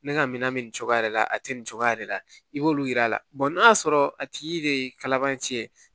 Ne ka minan bɛ nin cogoya de la a tɛ nin cogoya yɛrɛ la i b'olu yir'a la n'a y'a sɔrɔ a tigi de ye kalaban ci ye